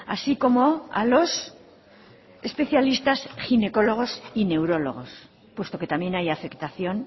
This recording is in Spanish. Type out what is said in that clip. así como a los especialistas ginecólogos y neurólogos puesto que también hay afectación